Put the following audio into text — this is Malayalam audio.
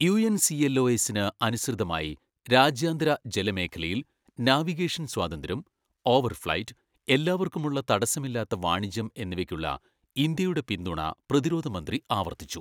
U. N. C. L. O. എസിന് അനുസൃതമായി രാജ്യാന്തര ജലമേഖലയിൽ, നാവിഗേഷൻ സ്വാതന്ത്ര്യം, ഓവർ ഫ്ലൈറ്റ്, എല്ലാവർക്കുമുള്ള തടസ്സമില്ലാത്ത വാണിജ്യം എന്നിവയ്ക്കുള്ള ഇന്ത്യയുടെ പിന്തുണ പ്രതിരോധ മന്ത്രി ആവർത്തിച്ചു.